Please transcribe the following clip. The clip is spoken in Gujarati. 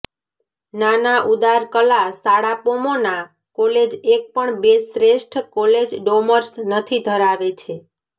નાના ઉદાર કલા શાળા પોમોના કોલેજ એક પણ બે શ્રેષ્ઠ કોલેજ ડોર્મસ નથી ધરાવે છે